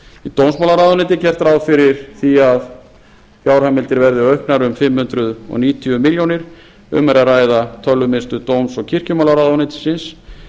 eitt dómsmálaráðuneytið gert er ráð fyrir því að fjárheimildir verði auknar um fimm hundruð níutíu milljónir um er að ræða tölvumiðstöð dóms og kirkjumálaráðuneytisins